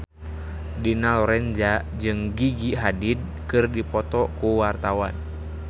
Dina Lorenza jeung Gigi Hadid keur dipoto ku wartawan